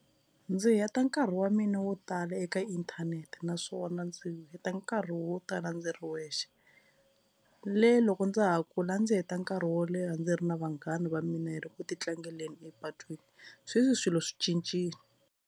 Ndzi heta nkarhi wa mina wo tala eka inthanete naswona ndzi heta nkarhi wo tala ndzi ri wexe le loko ndza ha kula ndzi heta nkarhi wo leha ndzi ri na vanghana va mina hi ri ku ti tlangeleni epatwini sweswi swilo swi cincile.